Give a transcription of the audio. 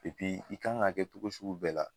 i kan ka kɛ cogo sugu bɛɛ la